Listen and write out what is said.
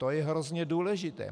To je hrozně důležité.